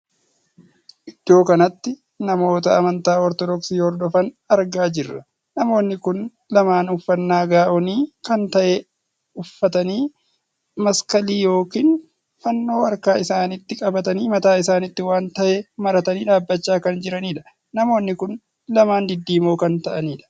Iddoo kanatti namoota amantaa ortodoksii hordofaan argaa jirra. namoonni kun lamaan uffannaa gaa'onii kan tahee uffatanii maskalii ykn fannoo harka isaaniitti qabatanii mataa isaaniitti waan tahee maratanii dhaabbachaa kan jiranidha. namoonni kun lamaan diddiimoo kan taa'anidha.